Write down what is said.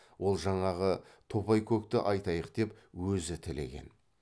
ол жаңағы топайкөкті айтайық деп өзі тілеген